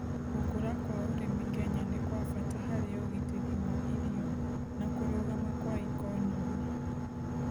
Gũkũra kwa ũrĩmi Kenya nĩ-kwabata harĩ ũgiteri wa irio na kũrũgama kwa ikonomĩ